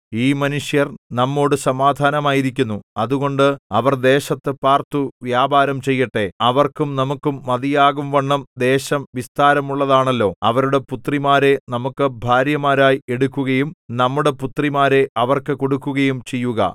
ഈ മനുഷ്യർ നമ്മോടു സമാധാനമായിരിക്കുന്നു അതുകൊണ്ട് അവർ ദേശത്തു പാർത്തു വ്യാപാരം ചെയ്യട്ടെ അവർക്കും നമുക്കും മതിയാകുംവണ്ണം ദേശം വിസ്താരമുള്ളതാണല്ലോ അവരുടെ പുത്രിമാരെ നമുക്ക് ഭാര്യമാരായി എടുക്കുകയും നമ്മുടെ പുത്രിമാരെ അവർക്ക് കൊടുക്കുകയും ചെയ്യുക